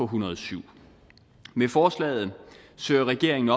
hundrede og syv med forslaget søger regeringen